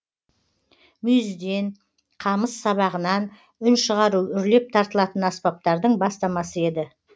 мүйізден қамыс сабағынан үн шығару үрлеп тартылатын аспаптардың бастамасы еді